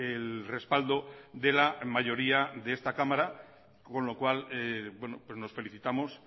el respaldo de la mayoría de esta cámara con lo cual nos felicitamos